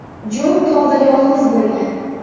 Jon tog‘da yolg‘iz bo‘lgan.